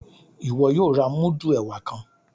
Iwọ yóò rà mudu ẹwà kàn!